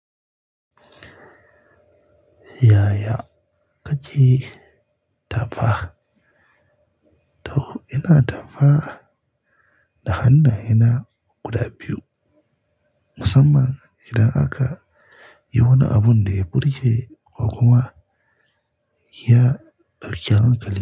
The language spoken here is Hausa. Yaya kake tafa? To ina tafa, da hannaye na guda biyu. Musamman idan aka yi wani abun da ya burge ƙwaƙwalwa, ya barkewa ƙali.